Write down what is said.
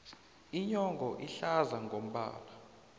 inyongo ihlaza ngombala